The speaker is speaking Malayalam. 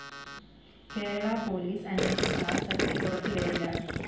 കേരളാ പോലീസ് അന്വേഷിച്ചാല്‍ സത്യം പുറത്തു വരില്ല